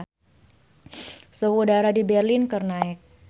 Suhu udara di Berlin keur naek